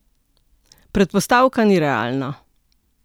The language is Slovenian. Predpostavka ni realna.